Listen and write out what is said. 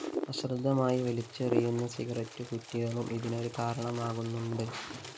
അശ്രദ്ധമായി വലിച്ചെറിയുന്ന സിഗരറ്റുകുറ്റികളും ഇതിനൊരു കാരണമാകുന്നുണ്ട്